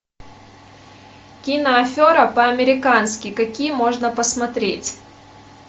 кино афера по американски какие можно посмотреть